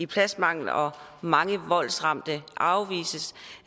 pladsmangel og at mange voldsramte afvises